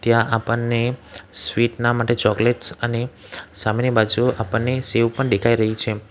ત્યાં આપણને સ્વીટ ના માટે ચોકલેટ્સ અને સામેની બાજુ આપણને સેવ પણ દેખાય રહી છે.